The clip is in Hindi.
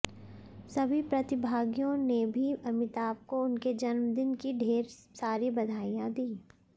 सभी प्रतिभागियों ने भी अमिताभ को उनके जन्मदिन की ढेर सारी बधाइयाँ दीं